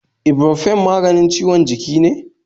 Ibropofen maganin ciwon jiki ne?